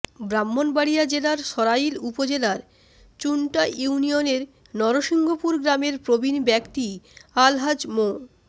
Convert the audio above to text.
ব্রাহ্মণবাড়িয়া জেলার সরাইল উপজেলার চুন্টা ইউনিয়নের নরসিংহপুর গ্রামের প্রবীণ ব্যক্তি আলহাজ্ব মো